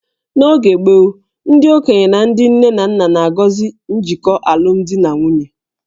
N'oge gboo, ndị okenye na ndị nne na nna na-agọzi njikọ alụmdi na nwunye